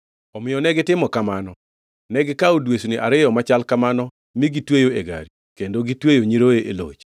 Omiyo negitimo kamano. Negikawo dwesni ariyo machal kamano mi gitweyo e gari kendo gitweyo nyiroye e loch.